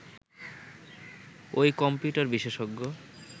ওই কম্পিউটার বিশেষজ্ঞ